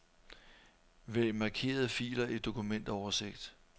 Vælg markerede filer i dokumentoversigt.